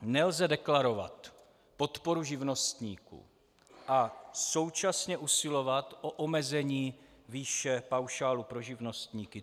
Nelze deklarovat podporu živnostníků a současně usilovat o omezení výše paušálu pro živnostníky.